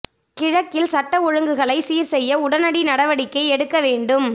கிழக்கில் சட்ட ஒழுங்குகளை சீர் செய்ய உடனடி நடவடிக்கை எடுக்க வேண்டும்